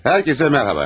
Hər kəsə mərhaba!